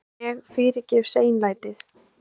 En ég fyrirgef seinlætið.